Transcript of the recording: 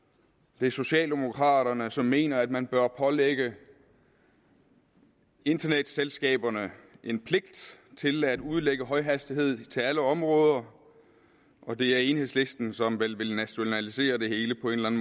det er socialdemokraterne som mener at man bør pålægge internetselskaberne en pligt til at udlægge højhastighed til alle områder og det er enhedslisten som vel vil nationalisere det hele på en